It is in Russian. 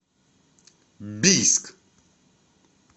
бийск